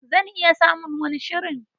Zan iya samun wani shirin.